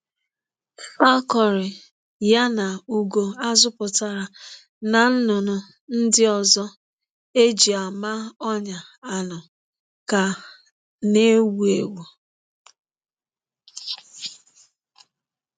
Falconry ya na ugo a zụpụtara na nnụnụ ndị ọzọ eji ama-onya anụ ka na-ewu ewu.